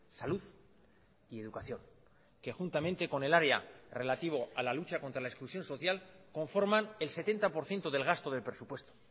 salud y educación que juntamente con el área relativo a la lucha contra la exclusión social conforman el setenta por ciento del gasto del presupuesto